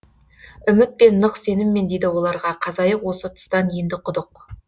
үмітпен нық сеніммен дейді оларға қазайық осы тұстан енді құдық